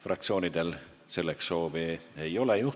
Juhtivkomisjoni ettepanek on eelnõu 675 esimene lugemine lõpetada.